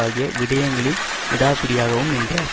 ஆகிய விடயங்களில் விடாப்பிடியாகவும் நின்றார்